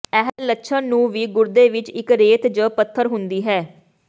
ਇਹ ਲੱਛਣ ਨੂੰ ਵੀ ਗੁਰਦੇ ਵਿੱਚ ਇੱਕ ਰੇਤ ਜ ਪੱਥਰ ਹੁੰਦੀ ਹੈ